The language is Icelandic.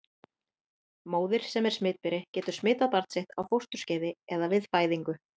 Móðir sem er smitberi getur smitað barn sitt á fósturskeiði eða við fæðingu.